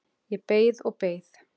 Ég beið og beið.